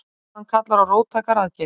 Staðan kallar á róttækar aðgerðir